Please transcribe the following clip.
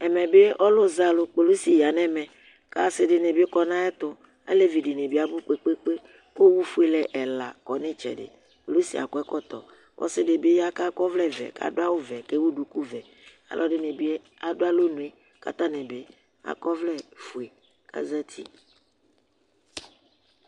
Ɛmɛɓɩ ɔlʊzɛalʊ kpolɩsɩ ya ŋɛmɛ Kasɩ dinɩ ɓi kɔ ŋʊ aƴɛtʊ Aleʋɩ dinɩbɩ abʊ kpekpeekpe Kʊ owʊ fuele ɛla ƙɔ ŋɩ ɩtsɛdɩ Kpolɩsɩ ƴɛ akɔ ɛkɔtɔ Ɔsɩ dɩbɩ ya ka kɔvlɛ vɛ kaɗʊ awʊ ʋɛ kewʊ dʊƙʊ ʋɛ Alʊ ɛdinɩ bi adʊ alɔŋʊe kata ŋibi akɔvlɛ fue kazatɩ